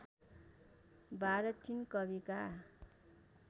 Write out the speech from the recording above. १२ तीन कविका